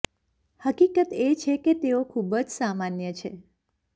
હકીકત એ છે કે તેઓ ખૂબ જ સામાન્ય છે